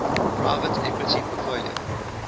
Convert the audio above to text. private equity portfolio